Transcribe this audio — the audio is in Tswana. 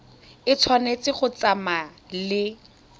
e tshwanetse go tsamaya le